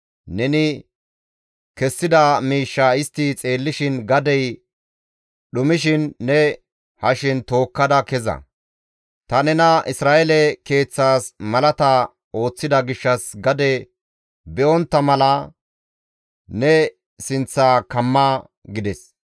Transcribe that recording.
Neni kessida miishshaa istti xeellishin gadey dhumishin ne hashen tookkada keza. Ta nena Isra7eele keeththas malata ooththida gishshas gade be7ontta mala ne sinththa kamma» gides.